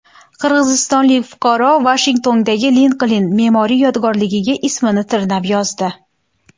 Qirg‘izistonlik fuqaro Vashingtondagi Linkoln me’moriy yodgorligiga ismini tirnab yozdi.